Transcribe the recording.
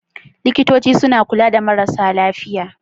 Likitoci suna kula da marasa lafiya.